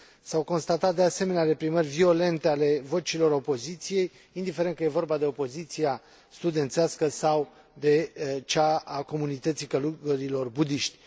S au constatat, de asemenea, reprimări violente ale vocilor opoziției, indiferent că e vorba de opoziția studențească sau de cea a comunității călugărilor budiști.